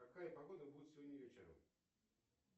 какая погода будет сегодня вечером